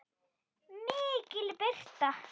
MIKIL BIRTA